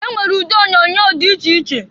E nwere ụdị onyoonyo dị iche iche.